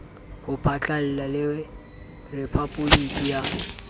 ho phatlalla le rephaboliki ya